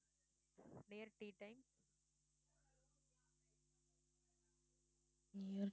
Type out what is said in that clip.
near